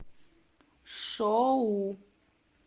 шоу